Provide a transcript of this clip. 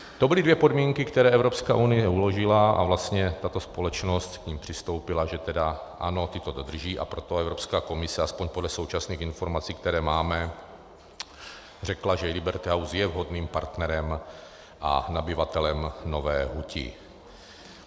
To byly dvě podmínky, které Evropská unie uložila, a vlastně tato společnost k nim přistoupila, že tedy ano, ty to dodrží, a proto Evropská komise aspoň podle současných informací, které máme, řekla, že Liberty House je vhodným partnerem a nabyvatelem Nové huti.